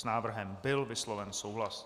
S návrhem byl vysloven souhlas.